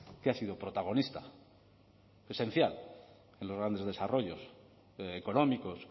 que ha sido protagonista esencial en los grandes desarrollos económicos